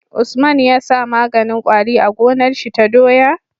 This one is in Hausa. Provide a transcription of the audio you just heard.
Usman yasa maganin kwari a gonar shi ta doya?